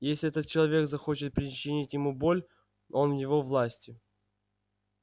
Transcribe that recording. если этот человек захочет причинить ему боль он в его власти